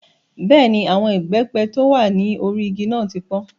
Bẹ́ẹ̀ni, àwọn ìbẹ́pẹ tí ó wà ní orí igi náà ti pọ́n.